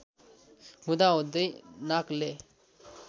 हुँदा हुदै नाकले